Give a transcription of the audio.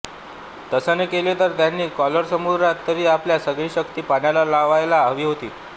तसे न केले तर त्याने कॉरल समुद्रात तरी आपली सगळी शक्ती पणाला लावायला हवी होती